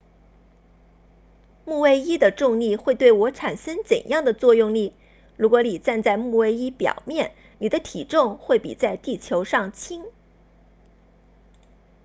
木卫一的重力会对我产生怎样的作用力如果你站在木卫一表面你的体重会比在地球上轻